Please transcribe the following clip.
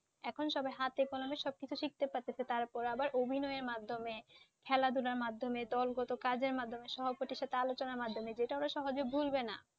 এখন সবাই হাতে কলমে সবকিছু শিখছে পারতেছে তারপরে আবার অভিনয়ের মাধ্যমে খেলাধুলার মাধ্যমে দলগত কাজের মাধ্যমে সহপাঠীর সাথে আলোচনা মাধ্যমে যেটা ওরা সহজে ভুলবে না।